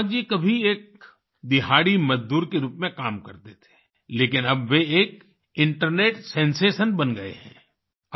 ईसाक जी कभी एक दिहाड़ी मजदूर के रूप में काम करते थे लेकिन अब वे एक इंटरनेट सेंसेशन बन गए हैं